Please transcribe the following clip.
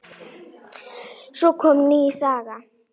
Svo kom ný saga.